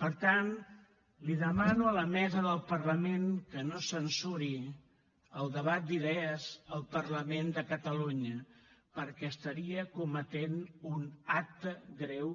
per tant li demano a la mesa del parlament que no censuri el debat d’idees al parlament de catalunya perquè estaria cometent un acte greu